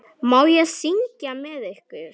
Má ég syngja með ykkur?